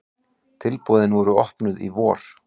Tilboðin voru opnuð í vor.